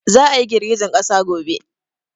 Za a yi girgijen ƙasa gobe